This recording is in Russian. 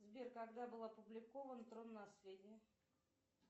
сбер когда был опубликован трон наследие